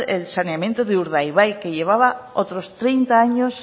el saneamiento de urdaibai que llevaba otros treinta años